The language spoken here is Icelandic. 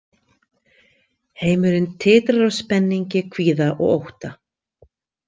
Heimurinn titrar af spenningi, kvíða og ótta.